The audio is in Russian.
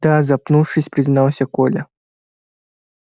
да запнувшись признался коля